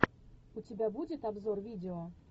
у тебя будет обзор видео